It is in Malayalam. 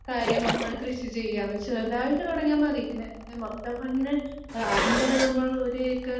കാര്യമാണ് കൃഷിചെയ്യുവാന്ന് ചെറുതായിട്ട് തുടങ്ങിയാൽ മതി ഇങ്ങനെ മൊത്തം ഇങ്ങനെ ആഹ് ആദ്യം തന്നെ നമ്മൾ ഒരു ക്ക്